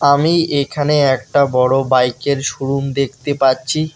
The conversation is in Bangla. আমি এখানে একটা বড় বাইকের শোরুম দেখতে পাচ্ছি।